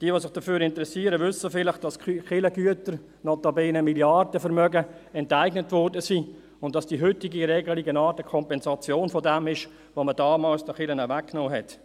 Diejenigen, die sich dafür interessieren, wissen vielleicht, dass die Kirchengüter – notabene Milliardenvermögen – enteignet wurden, und dass die heutige Regelung eine Art Kompensation dessen ist, was man damals den Kirchen weggenommen hat.